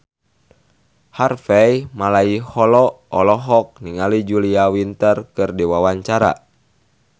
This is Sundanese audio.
Harvey Malaiholo olohok ningali Julia Winter keur diwawancara